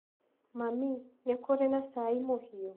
Mami, nĩ kũrĩ na cai mũhiũ?